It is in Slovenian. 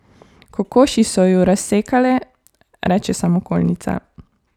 Kokoši so ju razsekale, reče samokolnica.